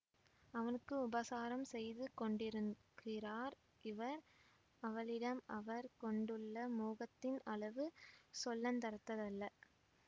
அவனுக்கு உபசாரம் செய்து கொண்டிருக்கிறார் இவர் அவளிடம் அவர் கொண்டுள்ள மோகத்தின் அளவு சொல்லுந்தரத்ததல்ல